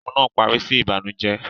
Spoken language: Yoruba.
Fíìmù náà parí sí Ìbànùjẹ́